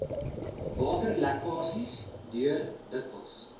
waterlekkasies deur dikwels